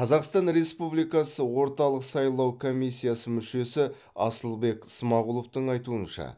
қазақстан республикасы орталық сайлау комиссиясы мүшесі асылбек смағұловтың айтуынша